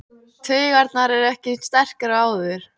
Taugarnar eru ekki eins sterkar og áður.